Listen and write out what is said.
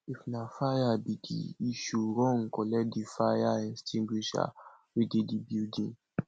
if na fire be di issue run collect di fire extingusher wey dey di building